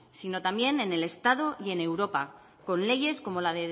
sino también en el estado y en europa con leyes como la